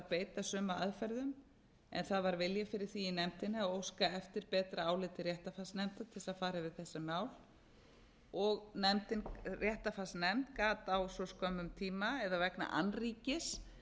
beita sömu aðferðum en það var vilji fyrir því í nefndinni að óska eftir betra áliti réttarfarsnefndar til þess að fara yfir þetta mál og réttarfarsnefnd gat á svo skömmum tíma eða vegna annríkis